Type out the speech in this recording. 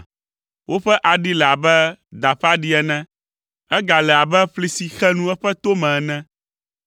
Woƒe aɖi le abe da ƒe aɖi ene. Egale abe ƒli si xe nu eƒe to me ene,